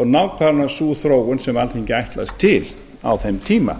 og nákvæmlega sú þróun sem alþingi ætlast til á þeim tíma